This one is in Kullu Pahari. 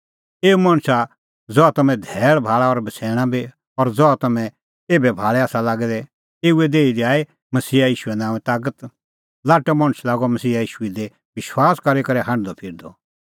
एऊ मणछा ज़हा तम्हैं धैल़ भाल़ा और बछ़ैणा बी और ज़हा तम्हैं एभै भाल़ै आसा लागै दै एऊए देही दी आई मसीहा ईशूए नांओंऐं तागत लाट्टअ मणछ लागअ मसीहा ईशू दी विश्वास करी करै हांढदअफिरदअ